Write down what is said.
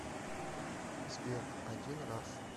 сбер один раз